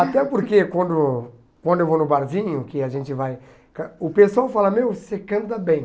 Até porque quando quando eu vou no barzinho, que a gente vai... O pessoal fala, meu, você canta bem.